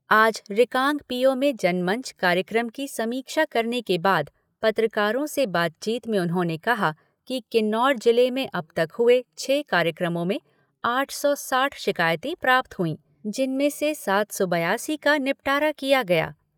आज रिकांगपिओ में जनमंच कार्यक्रम की समीक्षा करने के बाद पत्रकारों से बातचीत में उन्होंने कहा कि किन्नौर जिले में अब तक हुए छः कार्यक्रमों में आठ सौ साठ शिकायतें प्राप्त हुई, जिनमें से सात सौ बयासी का निपटारा किया गया।